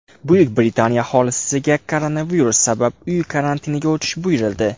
Buyuk Britaniya aholisiga koronavirus sabab uy karantiniga o‘tish buyurildi.